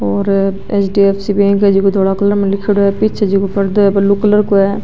और HDFC. Bank है जोकी धोला कलर में लीखेड़ो है पीछे जेको पर्दो है ब्लू कलर को है।